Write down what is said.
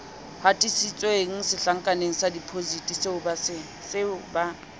hatisitsweng setlankaneng sa depositiseo ba